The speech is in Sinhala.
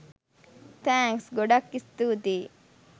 තෑන්ක්ස්! ගොඩක් ස්තුතියි